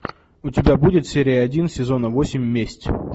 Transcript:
у тебя будет серия один сезона восемь месть